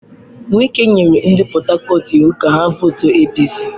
Wike nyere ndị Port Harcourt iwu ka ha vootuo APC!